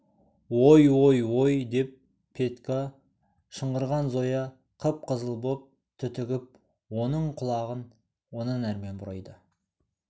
ой ой ой деп петька шыңғырған зоя қып-қызыл боп түтігіп оның құлағын онан әрмен бұрайды